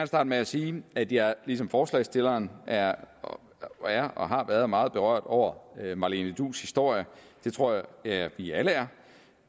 starte med at sige at jeg ligesom forslagsstillerne er og er og har været meget berørt over marlene duus historie det tror jeg at vi alle er